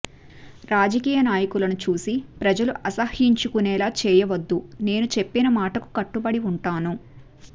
రాజకీయ నాయకులను చూసి ప్రజలు అసహ్యించుకునేలా చేయవద్ధు నేను చెప్పిన మాటకు కట్టబడి ఉంటాను